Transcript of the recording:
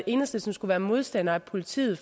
enhedslisten skulle være modstander af politiet